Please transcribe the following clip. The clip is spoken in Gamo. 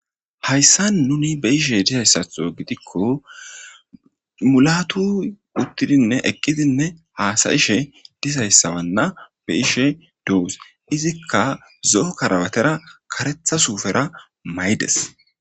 Haysan nuni be'zaysato gidiko mulatuy utidinne eqidi hasa'she dizaysawana be'ishe dos izika zo'o karabatara karetha sufera mayides.